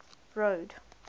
road